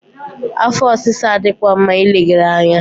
Afọ ọsịsa adịghịkwa mma ileghara anya.